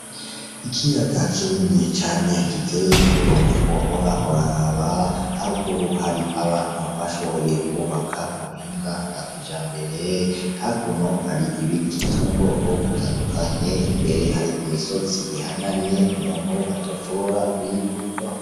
Ikiyaga kinini cane giteye igomwe wohora uraraba, haruguru hari abantu bashoboye kwubaka mu buhinga bwa kijambere, hakuno hari ibiti vyo mu bwoko butandukanye, imbere hari imisozi ihanamye umuntu atoshobora kuyiduga.